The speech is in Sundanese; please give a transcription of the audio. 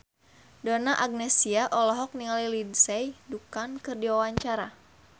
Donna Agnesia olohok ningali Lindsay Ducan keur diwawancara